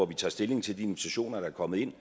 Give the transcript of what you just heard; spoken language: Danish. vi tager stilling til de invitationer der er kommet ind